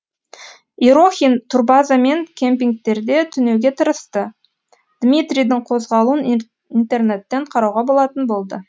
ерохин турбаза мен кемпингтерде түнеуге тырысты дмитрийдің қозғалуын интернеттен қарауға болатын болды